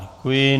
Děkuji.